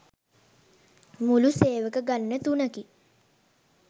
මුළු සේවක ගණන තුනකි.